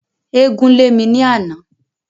Eégún lè mi ni àná